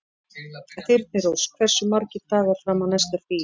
Þyrnirós, hversu margir dagar fram að næsta fríi?